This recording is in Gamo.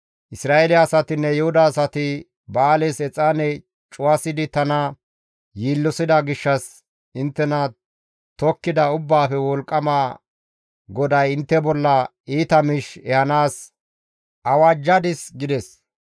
«Isra7eele asatinne Yuhuda asati Ba7aales exaane cuwasidi tana yiillosida gishshas inttena tokkida Ubbaafe Wolqqama GODAY intte bolla iita miish ehanaas awajjadis» gides.